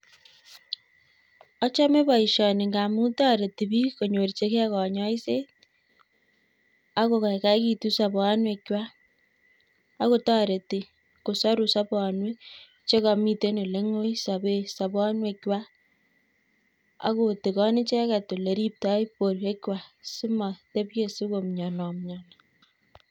Achome boisioni ngamu toreti biik konyorchigei kanyoiset, ago goigoitu sobonwek chwa. Agotoreti kosoru sobonwek chegamite oleng'ui sobe sobonwek chwa, agotigan icheget ole ribtoi borwek kwak simotepchei sigomnyenomnyeni.